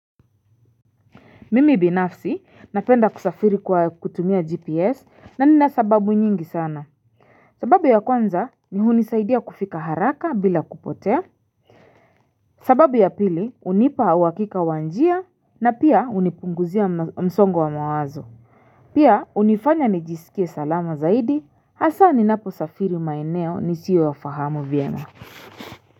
Mimi binafsi napenda kusafiri kwa kutumia GPS na ninasababu nyingi sana. Sababu ya kwanza ni hunisaidia kufika haraka bila kupotea. Sababu ya pili hunipa uhakika wa njia na pia hunipunguzia msongo wa mawazo. Pia hunifanya nijisikie salama zaidi hasa ninapo safiri maeneo nisiyo yafahamu vyema.